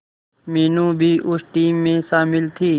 मीनू भी उस टीम में शामिल थी